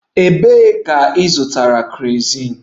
Ebee ka ịzụta kerosin?